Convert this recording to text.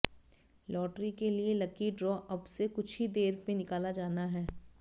lottery के लिए lucky draw अब से कुछ ही देर में निकाला जाना है